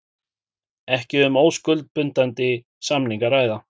Ekki um óskuldbindandi samning að ræða